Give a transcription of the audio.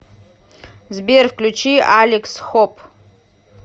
сбер включи алекс хоуп